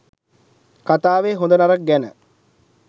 කතාවෙ හොඳ නරක ගැන